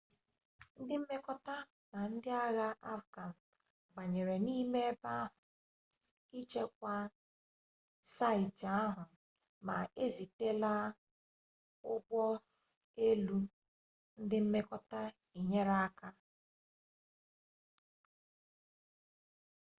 ndị mmekọta na ndị agha afghan banyere n'ime ebe ahụ ichekwa saịtị ahụ ma ezitela ụgbọ elu ndị mmekọta inyere aka